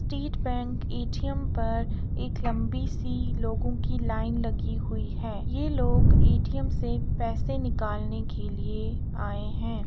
State Bank ATM पर एक लम्बी सी लोगो की लाइन लगी हुई है लोग एटीएम से पैसे निकालने के लिए लोग आए हुए है ।